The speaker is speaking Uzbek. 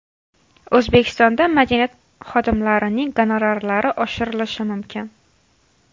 O‘zbekistonda madaniyat xodimlarining gonorarlari oshirilishi mumkin.